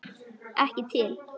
Ekki til.